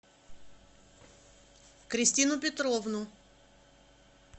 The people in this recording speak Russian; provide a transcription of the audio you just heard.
кристину петровну